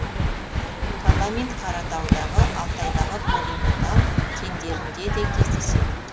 каламин қаратаудағы алтайдағы полиметалл кендерінде де кездеседі